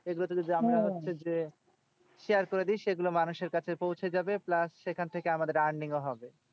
এগুলোতে যদি আমরা হচ্ছে যে, share করে দিই সেগুলো মানুষের কাছে পৌঁছে যাবে। plus সেখান থেকে আমাদের earning ও হবে।